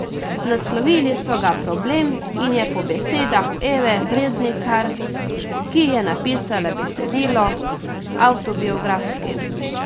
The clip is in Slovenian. Naslovili so ga Problem in je po besedah Eve Breznikar, ki je napisala besedilo, avtobiografski.